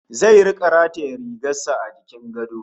Zai rika rataye rigar sa a jikin gado